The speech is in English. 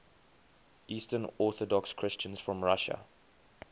eastern orthodox christians from russia